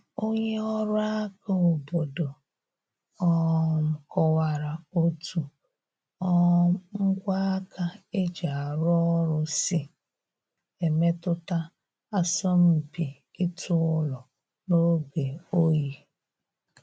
Onye ọrụ aka obodo um kọwara otu um ngwa aka e ji arụ ọrụ si emetụta asọmpi ịtụ ụlọ n’oge oyi